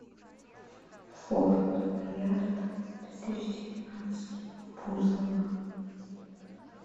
форт боярд две тысячи девятнадцать бузова